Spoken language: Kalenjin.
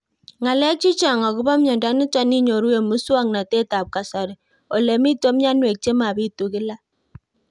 Ng'alek chechang' akopo miondo nitok inyoru eng' muswog'natet ab kasari ole mito mianwek che mapitu kila